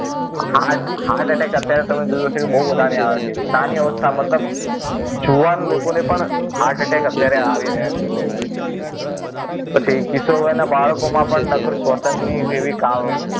Heart heart attack અત્યારે તમે જોયું હશે બહુ વધારે આવે છે નાની અવસ્થા મતલબ જુવાન લોકોને પણ heart attack અત્યારે આવી રહ્યા છે પછી કિશોર વયના બાળકોમાં પણ નકરું શ્વસન ની એવી